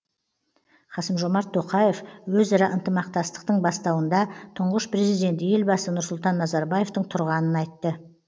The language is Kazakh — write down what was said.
қасым жомарт тоқаев өзара ынтымақтастықтың бастауында тұңғыш президент елбасы нұрсұлтан назарбаевтың тұрғанын айтты